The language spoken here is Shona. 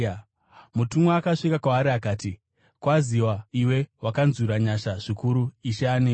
Mutumwa akasvika kwaari akati, “Kwaziwa, iwe wakanzwirwa nyasha zvikuru! Ishe anewe.”